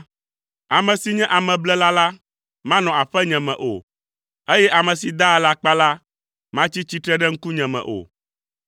Ame si nye ameblela la, manɔ aƒenye me o, eye ame si daa alakpa la matsi tsitre ɖe ŋkunye me o.